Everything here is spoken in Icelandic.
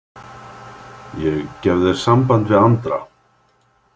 Ég gef þér samband við Andra.